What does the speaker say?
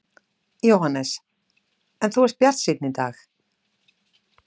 Jóhannes: En þú ert bjartsýnn í dag?